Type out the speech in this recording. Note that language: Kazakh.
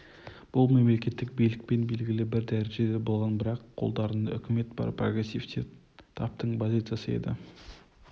бұл мемлекеттік билікпен белгілі бір дәрежеде болған бірақ қолдарында үкімет бар прогрессивті таптың позициясы еді